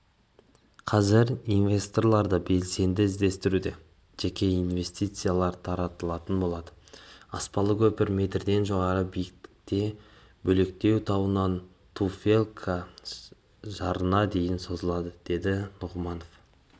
қазір инвесторларды белсенді іздестіруде жеке инвестициялар тартылатын болады аспалы көпір метрден жоғары биіктікте бөлектау тауынан туфелька жарына дейін созылады деді нұғыманов